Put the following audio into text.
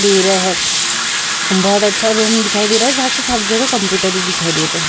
दे रहे हैं। बहुत अच्छा रूम दिखाई दे रहा है जहां कि सब जगह कंप्युटर ही दिखाई दे रहे हैं।